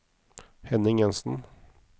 Henning Jensen